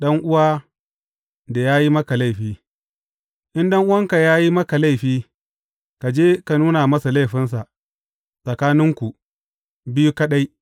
Ɗan’uwa da ya yi maka laifi In ɗan’uwanka ya yi maka laifi, ka je ka nuna masa laifinsa, tsakaninku biyu kaɗai.